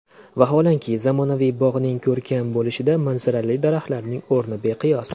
Vaholanki, zamonaviy bog‘ning ko‘rkam bo‘lishida manzarali daraxtlarning o‘rni beqiyos.